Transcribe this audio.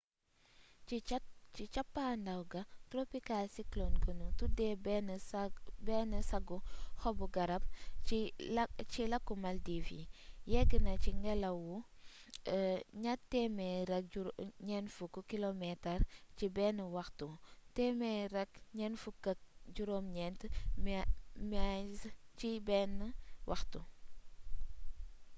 ci cappandaw ga tropical cyclone gonu tuddé bénn saggu xobu garab ci lakku maldives yi yéggna ci ngélaw wu 240 kilometers ci bénn waxtu 149 miles ci bénn waxtu